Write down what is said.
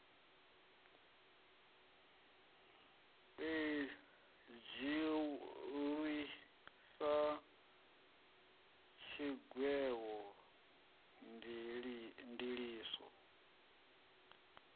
i dzhiiwi sa tshigwevho ndiliso